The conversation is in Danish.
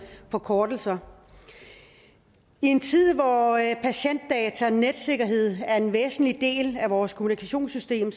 forkortelser i en tid hvor patientdata netsikkerhed er en væsentlig del af vores kommunikationssystem